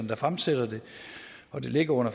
der fremsætter det og det ligger under